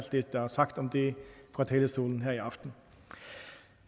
det der er sagt om det fra talerstolen her i aften